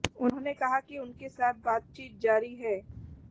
उन्होंने कहा कि उनके साथ बातचीत जारी है